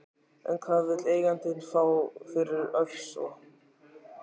En hvað vill eigandinn fá fyrir Ofsa?